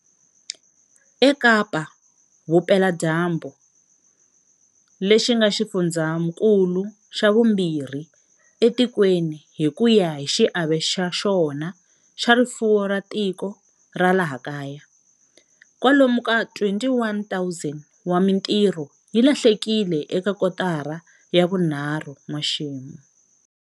EKapa-Vupeladyambu, lexi nga xifundzankulu xa vumbirhi etikweni hi ku ya hi xiave xa xona xa rifuwo ra tiko ra laha kaya, kwalomu ka 21 000 wa mitirho yi lahlekile eka kotara ya vunharhu n'waxemu.